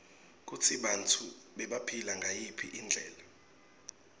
kutsi bantfu bebaphila ngayiphi indlela